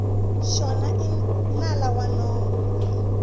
xona i nala wa nomo